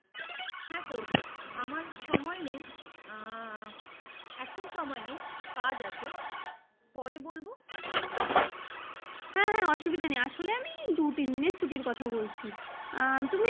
হ্যাঁ করবো আমার সময় নেই এখন সময় নেই কাজ আছে পরে বলবো। হ্যাঁ হ্যাঁ অসুবিধা নাই আসলে আমি দু তিন দিনের ছুটির কথা বলছি তুমি